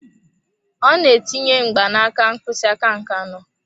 Ọ na-etinye mgbanaka mkpịsị aka nke anọ.